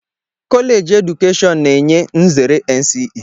Kọleeji keedukeshọn na-enye nzere NCE